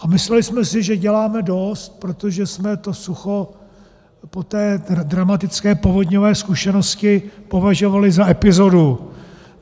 A mysleli jsme si, že děláme dost, protože jsme to sucho po té dramatické povodňové zkušenosti považovali za epizodu.